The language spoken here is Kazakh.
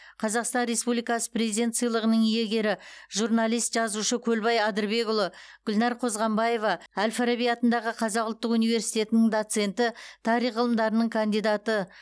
қазақстан республикасы президенті сыйлығының иегері жуналист жазушы көлбай адырбекұлы гүлнар қозғанбаева әл фараби атындағы қазақ ұлттық университетінің доценті тарих ғылымдарының кандидаты